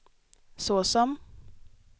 såsom